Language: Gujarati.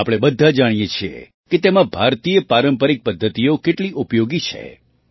આપણે બધાં જાણીએ છીએ કે તેમાં ભારતીય પારંપરિક પદ્ધતિઓ કેટલી ઉપયોગી છે